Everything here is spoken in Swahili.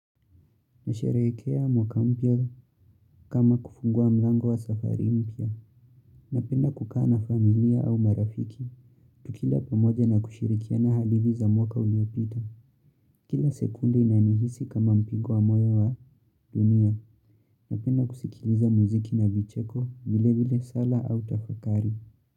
Nasharekea mwaka mpya kama kufungua mlango wa safari mpya. Napenda kukaa na familia au marafiki. Tukila pamoja na kushirikiana hadithi za mwaka uliopita. Kila sekunde inanihisi kama mpigo wa moyo wa dunia. Napenda kusikiliza muziki na vicheko vile vile sala au tafakari.